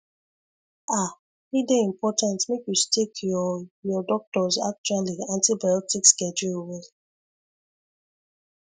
ah e dey important make you stick your your doctors actually antibiotic schedule well